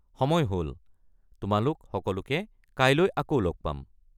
সময় হ'ল! তোমালোক সকলোকে কাইলৈ আকৌ লগ পাম!